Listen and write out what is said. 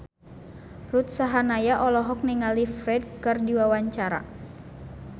Ruth Sahanaya olohok ningali Ferdge keur diwawancara